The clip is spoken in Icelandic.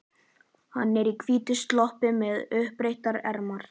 Hann er í hvítum sloppi með uppbrettar ermar.